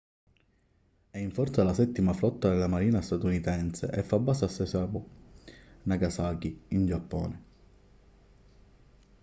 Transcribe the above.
è in forza alla settima flotta della marina statunitense e fa base a sasebo nagasaki in giappone